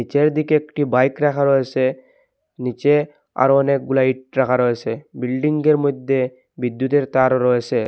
চারিদিকে একটি বাইক রাখা রয়েসে নীচে আরও অনেকগুলা ইট রাখা রয়েসে বিল্ডিংগের মইধ্যে বিদ্যুতের তারও রয়েসে ।